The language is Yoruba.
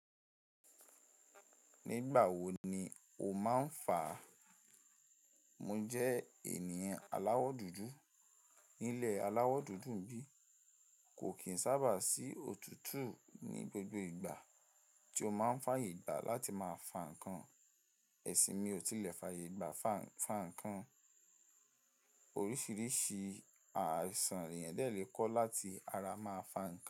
Nígbà wo ni o máà ń fà? Mo jẹ́ ènìyàn aláwọ̀ dúdú. Nílẹ̀ aláwọ̀ dúdú n bí, kò kìí n sábà sí òtútù ní gbogbo ìgbà tí o máa ń fààyè gbà a láti máa fà ǹkan. Ẹ̀sìn mi ò tilẹ̀ fààyè gbà fa, fà ǹkan. Oríṣiríṣi àisan leeyan dẹ̀ lè ko láti ara máa fà ǹkan.